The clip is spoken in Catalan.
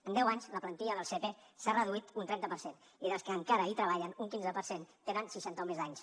en deu anys la plantilla del sepe s’ha reduït un trenta per cent i dels que encara hi treballen un quinze per cent tenen seixanta o més anys